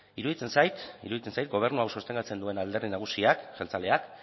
iruditzen zait gobernu hau sostengatzen duen alderdi nagusiak jeltzaleak